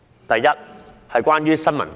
第一，打擊新聞自由。